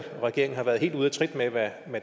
regeringen har været helt ude af trit med hvad